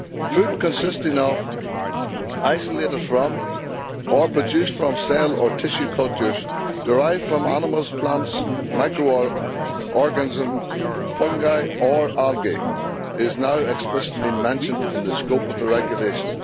Food consisting of, isolated from, or produced from cell or tissue cultures derived from animals, plants, micro organisms, fungi or algae is now explicitly mentioned in the scope of the regulation.